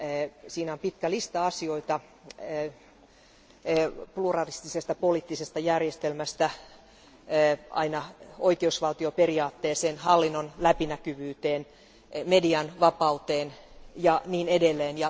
Määritelmässä on pitkä lista asioita pluralistisesta poliittisesta järjestelmästä aina oikeusvaltioperiaatteeseen, hallinnon läpinäkyvyyteen, median vapauteen ja niin edelleen.